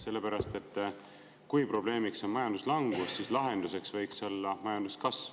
Sellepärast, et kui probleemiks on majanduslangus, siis lahenduseks võiks olla majanduskasv.